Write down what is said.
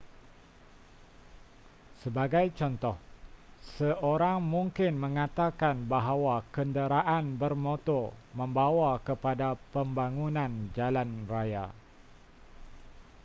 sebagai contoh seorang mungkin mengatakan bahawa kenderaan bermotor membawa kepada pembangunan jalan raya